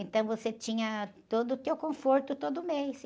Então você tinha todo o teu conforto todo mês.